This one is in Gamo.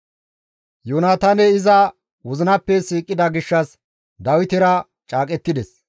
Yoonataaney iza wozinappe siiqida gishshas Dawitera caaqettides.